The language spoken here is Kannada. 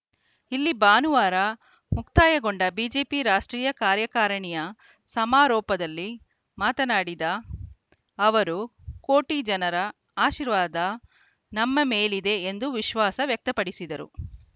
ಇಲ್ಲಿ ಭಾನುವಾರ ಮುಕ್ತಾಯಗೊಂಡ ಬಿಜೆಪಿ ರಾಷ್ಟ್ರೀಯ ಕಾರ್ಯಕಾರಿಣಿಯ ಸಮಾರೋಪದಲ್ಲಿ ಮಾತನಾಡಿದ ಅವರು ಕೋಟಿ ಜನರ ಆಶೀರ್ವಾದ ನಮ್ಮ ಮೇಲಿದೆ ಎಂದು ವಿಶ್ವಾಸ ವ್ಯಕ್ತಪಡಿಸಿದರು